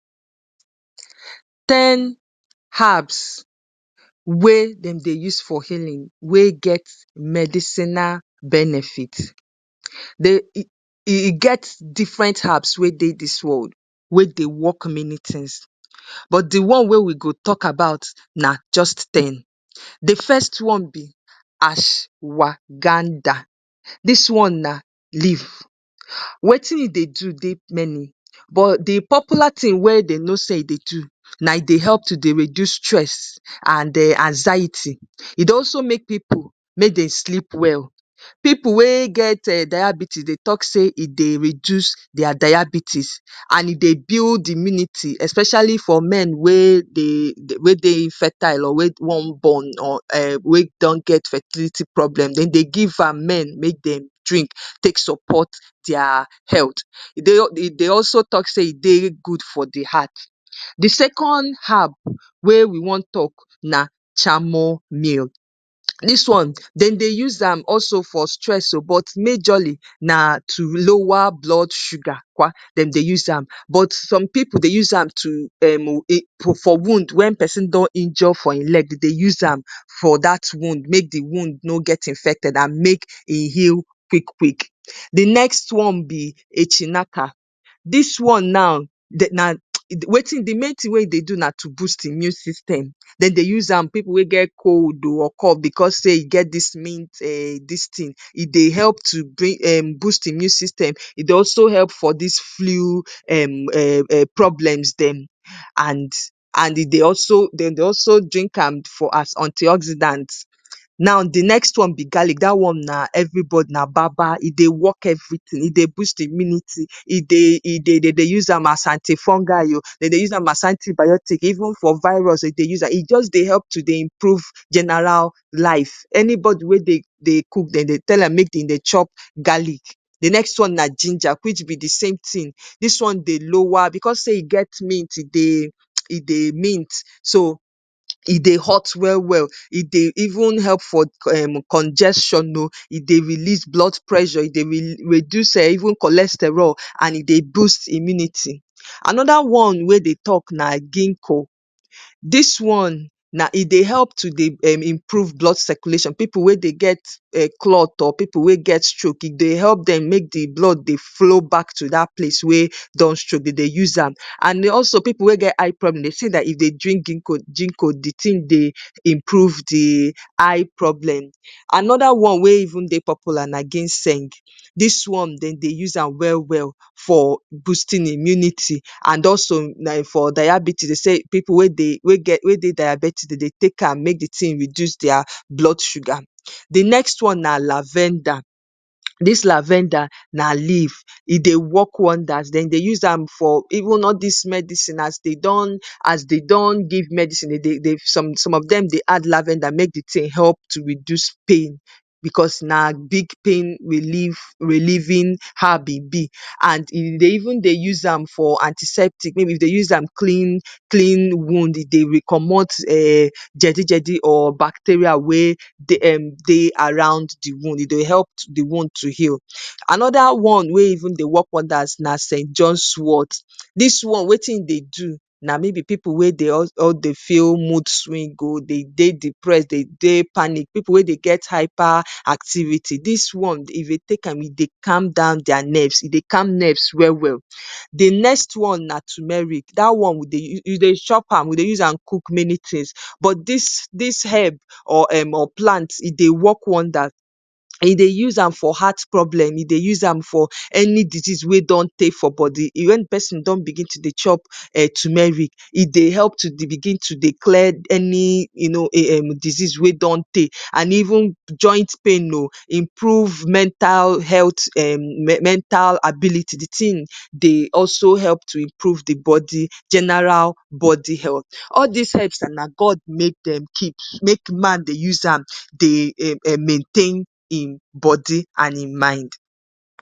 ‎" ten harbs wey dem dey use fourhailein wey get medicinal benefit get different habs wey dey dis world wey dey work manitins but di one wey we go tok about na just e di first one be ash waganda dis one na live wetin e dey do dey many but di popular tin wey I no say e dey do na e dey help to dey reduse stress and um anxiety, e dey also make pipu make Dem sleep well, pipu we get dayabites talk say e dey reduse their dayabites e dey build immunity especially for me we um dey infertile or we wan born or um we get fertility problem, dey de give am men make Dem drink take support their health, dey also talk say e dey good for de heart. de second harb we we wan talk na chamomile dis one Dem dey use am also for stress o but majority na to lower blood sugar um Dem dey use am but some pipu dey use am um for wound wen pesin don injure for e leg dey de use am make de wound no get infected dey de use am make e heal quick quick. de next one be etinaka dis one now dey na um de main tin wen e dey do na to boost immune system, Dem dey use am pipu we get cold o or cough Dem dey use am bcos of say e get dis mint um distin e dey help to boost immune system e dey also help for dis flu um um um problems Dem and and e dey also Dem dey also drink am for antioxidants, now de next one be garlic da one na everybody na baba e dey work everytin e dey boost immunity e dey de dey de use am as anti fungi o as antibiotics even for virus Dem dey use am e jus dey help to dey improve ganaral life, anybody we dey cook Dem dey tell am to chop garlic. de next one na ginger which be dsame tin, dis one dey lower becos say e get mint e dey mint so so e dey hot welwel e dey even help for um congestion o e dey release blood pressure e dey reduse um even cholesterol and e dey boost immunity. Anoda one we dey talk na ginko dis one na e dey help to dey improve blood circulation pipu we dey get cloth or pipu we get stroke e dey help dem make de blood dey flow back to dat place um Dem dey use am an also pipu we get eye problems Dem say dat if Dem drink ginko ginko de tin dey improve de eye problem. Anoda one we even dey polular na ginseng, dis one dey de use am welwel for boosting immunity and also na for dayabites pipu we dey dayabetic Dem dey take am make de tin reduse their blood sugar. de next one na lavenda dis lavenda na leaf e dey work wonders even all dis medicine as dey don as dey don give medicine dey de some of Dem dey add lavenda make de tin help to reduse pain bcos na big pain relli relieving harb e be ‎and dey de even dey use am for antiseptic mayb Dem dey use am clean clean wound e dey comot jedijedi um or bacteria wen dey around de wound e dey help de wound to heal. Anoda one wen even dey work wonders na sent johnswot dis one wetin in dey do na mayb pipu wen dey feel moodswing o, dey de dipress dey de panic pipu we dey get hyper activity dis one if dey take am e dey calm down their nerves e dey calm nerves welwel. de next one na tumeric da one u dey chop am we dey use am cook many tins but dis herb um um plant e dey work wonders we dey use am for heart problems we dey use am for any dizes we don teey for body e dey use am wen de person don bigin to dey chop tumeric e dey help to dey bigin to dey clear any um any dizes we don teey and even joint pain o improve mental health um mental ability de tin dey also help to improve de body genaral body health, all dis herbs and na God make Dem keep make man dey use am dey um um maintain Im body and Im mind"